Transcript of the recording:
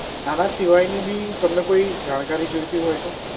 આના સિવાયની બી તમને કોઈ જાણકારી જોઇતી હોય તો?